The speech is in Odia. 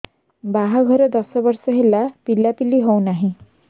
ବାହାଘର ଦଶ ବର୍ଷ ହେଲା ପିଲାପିଲି ହଉନାହି